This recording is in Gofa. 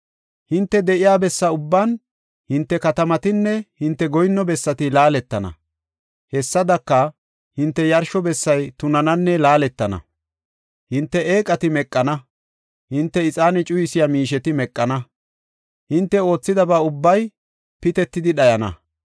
Hinte de7iya bessa ubbaan, hinte katamatinne hinte goyinno bessati laaletana. Hessadaka, hinte yarsho bessay tunananne laaletana; hinte eeqati meqana; hinte ixaane cuyisiya miisheti meqana; hinte oothidaba ubbay pitetidi dhayana.